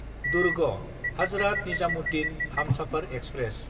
दुर्ग–हाजरात Nizamuddin Humsafar express